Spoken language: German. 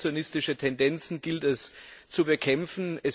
Protektionistische Tendenzen gilt es zu bekämpfen.